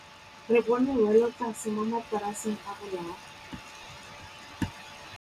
Re bone wêlôtlasê mo mataraseng a bolaô.